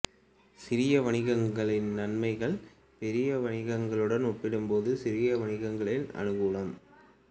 சிறிய வணிகங்களின் நன்மைகள் ஃ பாரிய வணிகங்களுடன் ஒப்பிடும் போது சிறு வணிகங்களின் அனுகூலம்